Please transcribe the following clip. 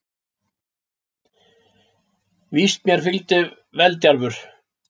Víst mér fylgdi veldjarfur